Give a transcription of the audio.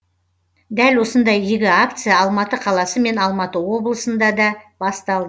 дәл осындай игі акция алматы қаласы мен алматы облысында да басталды